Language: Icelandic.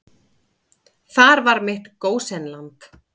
Þar var mitt gósenland.